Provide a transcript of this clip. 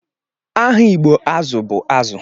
Aha igbo azu bu azu